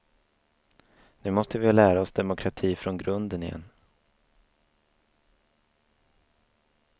Nu måste vi lära oss demokrati från grunden igen.